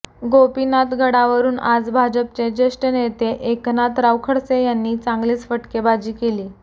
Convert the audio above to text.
गोपीनाथ गडावरुन आज भाजपचे ज्येष्ठ नेते एकनाथराव खडसे यांनी चांगलीच फटकेबाजी केली